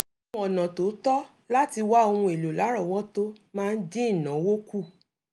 mímọ ọ̀nà tó tọ́ láti wá ohun èlò lárọwọtó máa ń dín ìnáwó kù